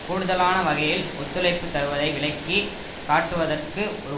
கூடுதலான வகையில் ஒத்துழைப்பு தருவதை விளக்கி காட்டுவதற்கு ஒரு